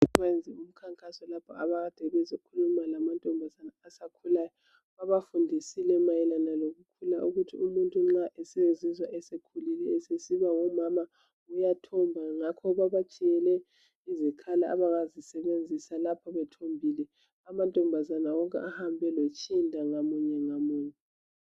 Bayenze Umkhankaso lapho akade bezokhuluma lamantombazana asakhulayo babafundisile mayelana lokukhula ukuthi umuntu nxa esezizwa esekhulile eseNgumama uyathomba ngakho babatshiyele izikhali abangazisebenzisa lapho bethombile amantombazana wonke ahambe lotshinda ngamunye ngamunye